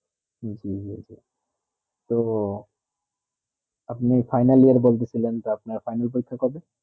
জী জী জী আপনি final year বলতেছিলেন তো তো আপনার final পরীক্ষা কবে